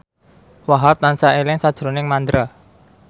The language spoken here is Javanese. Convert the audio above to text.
Wahhab tansah eling sakjroning Mandra